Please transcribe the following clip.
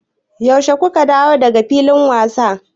Yaushe ku ka dawo da ga filin wasa?